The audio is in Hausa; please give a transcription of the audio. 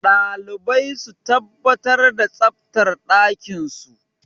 Dalibai su tabbatar da tsaftar ɗakinsu.